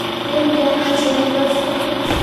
Pendi ano chepyosok?